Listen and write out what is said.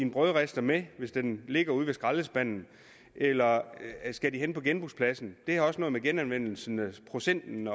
brødrister med hvis den ligger ude ved skraldespanden eller skal han hen på genbrugspladsen det har også noget med genanvendelsesprocenten